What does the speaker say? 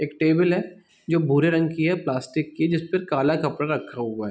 एक टेबल है जो भूरे रंग की है प्लास्टिक की जिसपे काला कपरा रखा हुआ है--